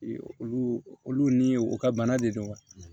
Olu olu ni u ka bana de don wa